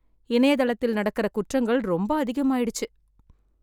இணையதளத்தில் நடக்கிற குற்றங்கள் ரொம்ப அதிகமாயிடுச்சு